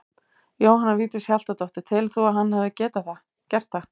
Jóhanna Vigdís Hjaltadóttir: Telur þú að hann hefði getað gert það?